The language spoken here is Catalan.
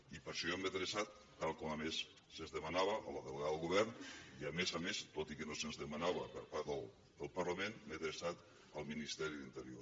i per això jo m’he adreçat tal com a més se’ns demanava a la delegada del govern i a més a més tot i que no se’ns demanava per part del parlament m’he adreçat al ministeri d’interior